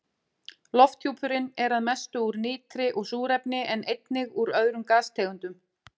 Lofthjúpurinn er að mestu úr nitri og súrefni en einnig úr öðrum gastegundum.